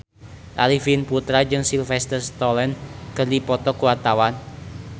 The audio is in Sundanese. Arifin Putra jeung Sylvester Stallone keur dipoto ku wartawan